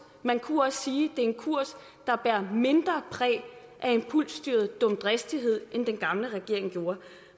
man kunne også sige at er en kurs der bærer mindre præg af impulsstyret dumdristighed end den gamle regerings kurs